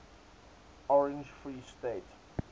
orange free state